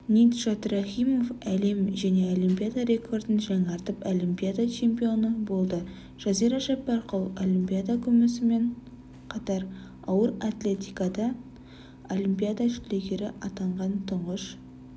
ниджат рахимов әлем және олимпиада рекордын жаңартып олимпиада чемпионы болды жазира жаппарқұл олимпиада күмісімен қатар ауыр атлетикадан олимпиада жүлдегері атанған тұңғыш